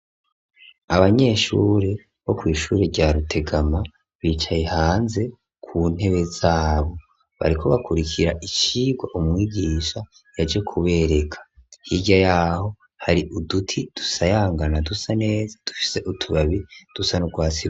Abanyeshure bo kw'ishure rya Rutegama bicaye hanze ku ntebe zabo. Bariko bakurikira icigwa umwigisha yaje kubereka. Hirya yaho hari uduti dusayangana dusa neza dufise utubabi dusa n'urwatsi.